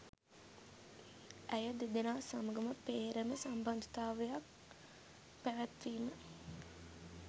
ඇය දෙදෙනා සමඟම පේ්‍රම සම්බන්ධතාවක් පැවැත්වීම